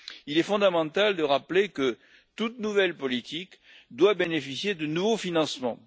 Il est fondamental de rappeler que toute nouvelle politique doit bénéficier de nouveaux financements.